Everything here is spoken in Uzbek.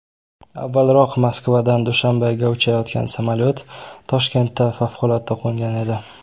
Avvalroq Moskvadan Dushanbega uchayotgan samolyot Toshkentga favqulodda qo‘ngan edi .